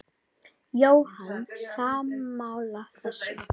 Jóhann: Sammála þessu?